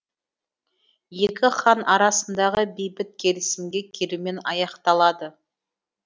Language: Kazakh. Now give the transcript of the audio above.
екі хан арасындағы бейбіт келісімге келумен аяқталады